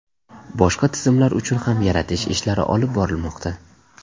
Boshqa tizimlar uchun ham yaratish ishlari olib borilmoqda.